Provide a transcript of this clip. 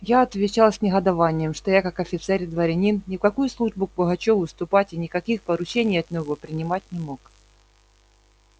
я отвечал с негодованием что я как офицер и дворянин ни в какую службу к пугачёву вступать и никаких поручений от него принять не мог